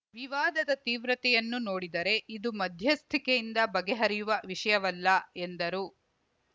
ವಿವಾದದ ತೀವ್ರತೆಯನ್ನು ನೋಡಿದರೆ ಇದು ಮಧ್ಯಸ್ಥಿಕೆಯಿಂದ ಬಗೆಹರಿಯುವ ವಿಷಯವಲ್ಲ ಎಂದರು